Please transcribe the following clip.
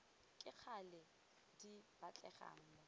ka gale di batlegang mo